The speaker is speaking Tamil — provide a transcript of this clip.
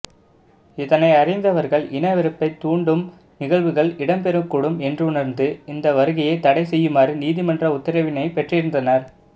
இதனை அறிந்தவர்கள் இனவெறுப்பை தூண்டும் நிகழ்வுகள் இடம்பெறக்கூடும் என்றுணர்ந்து இந்த வருகையை தடை செய்யுமாறு நீதிமன்ற உத்தரவினை பெற்றிருந்தனர்